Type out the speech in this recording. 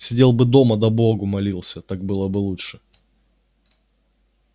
сидел бы дома да богу молился так было бы лучше